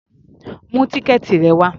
Mú tíkẹ́ẹ̀tì rẹ wá!